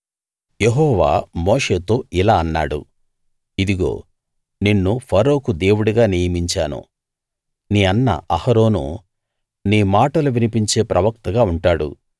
యెహోవా మోషేతో ఇలా అన్నాడు ఇదిగో నిన్ను ఫరోకు దేవుడిగా నియమించాను నీ అన్న అహరోను నీ మాటలు వినిపించే ప్రవక్తగా ఉంటాడు